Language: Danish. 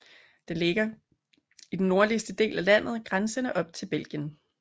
Den ligger i den nordligste del af landet grænsende op til Belgien